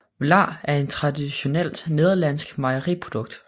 Vla er et traditionelt nederlandsk mejeriprodukt